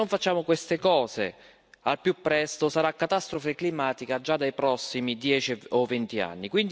Se non facciamo queste cose al più presto sarà catastrofe climatica già nei prossimi dieci o venti anni.